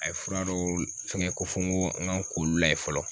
A ye fura dɔw fɛngɛ ko fo n ko n kan ko olu la yen fɔlɔ